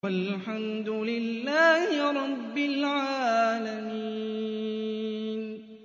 وَالْحَمْدُ لِلَّهِ رَبِّ الْعَالَمِينَ